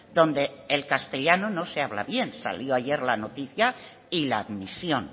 donde el castellano no se habla bien salió ayer la noticia y la admisión